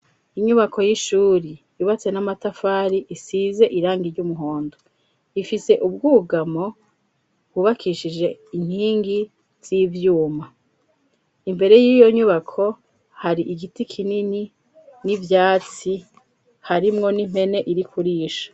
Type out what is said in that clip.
Inyubako y'ishuri ibatse n'amatafari isize irangi ry'umuhondo ifise ubwugamo bubakishije inkingi z'ivyuma imbere y'iyo nyubako hari igiti kinini n'ivyatsi harimwo n'impene irikurisha.